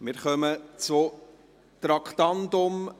Wir kommen zu Traktandum 62: